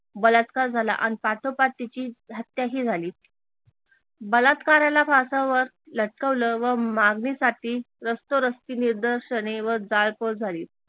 बलात्कार झाला अन पाठोपाठ तिची हत्या ही झाली बलात्काराला फासावर लटकवल व मागणीसाठी रस्तोरस्ती निदर्शने व जाळपोळ झाली